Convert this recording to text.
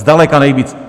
Zdaleka nejvíc!